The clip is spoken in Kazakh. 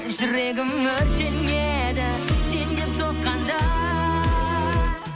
жүрегім өртенеді сен деп соққанда